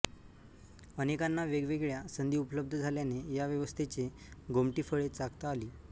अनेकांना वेगवेगळया संधी उपलब्ध झाल्याने या व्यवस्थेचे गोमटी फळे चाखता आली